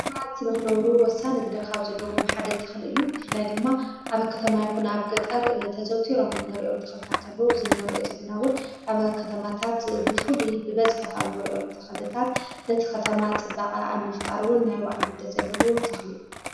ሰባት ንኽነብሩ ወሳኒ ግደ ኻብ ዘለዎ ሓደ ተኽል እዩ ፍላይ ድማ ኣብ ኸተማ ይኩን ኣብ ገጠር ተዘውቲሮም ንሪኦም ተኽልታት ኣሎ ዝነርኦ ዘለናውን ኣብ ኸተማታት ብፉልይ ብበዝሐ ኻም ነርዮም ተኽልታት ነቲ ኸተማ ጽባቐ ኣብ ምፍጣርውን ናይባዕሉ ግደ ዘለዎ ተኽል እዩ።